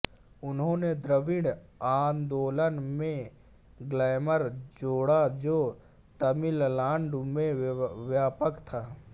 उन्होंने द्रविड़ आंदोलन में ग्लैमर जोड़ा जो तमिलनाडु में व्यापक था